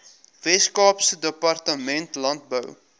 weskaapse departement landbou